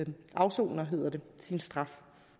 afsoner sin straf